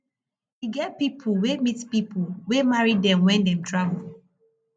e get pipo wey meet pipo wey marry dem wen dem travel